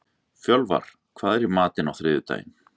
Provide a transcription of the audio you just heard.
Fjölvar, hvað er í matinn á þriðjudaginn?